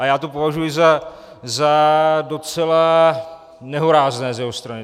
A já to považuji za docela nehorázné z jeho strany.